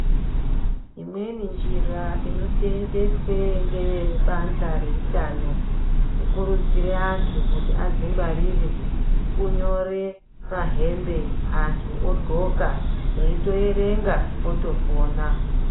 Imweni njira inosenzeswa Nebanhla rehutano kukurudzira antu kuzvingwarira kunyore pahembe antu ogonka eitoerenga otopona.